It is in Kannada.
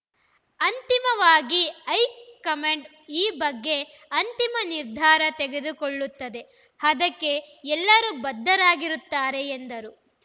ಅಂತಿಮವಾಗಿ ಹೈಕಮಾಂಡ್‌ ಈ ಬಗ್ಗೆ ಅಂತಿಮ ನಿರ್ಧಾರ ತೆಗೆದುಕೊಳ್ಳುತ್ತದೆ ಅದಕ್ಕೆ ಎಲ್ಲರೂ ಬದ್ಧರಾಗಿರುತ್ತಾರೆ ಎಂದರು